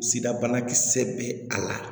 Sida banakisɛ bɛ a la